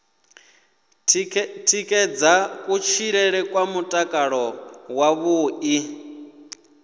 tikedza kutshilele kwa mutakalo wavhuḓi